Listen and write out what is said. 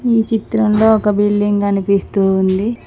ఈ చిత్రంలో ఒక బిల్డింగ్ కనిపిస్తూ ఉంది.